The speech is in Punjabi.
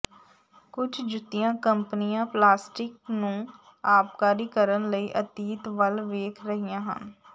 ਕੁਝ ਜੁੱਤੀਆਂ ਕੰਪਨੀਆਂ ਪਲਾਸਟਿਕ ਨੂੰ ਆਬਕਾਰੀ ਕਰਨ ਲਈ ਅਤੀਤ ਵੱਲ ਵੇਖ ਰਹੀਆਂ ਹਨ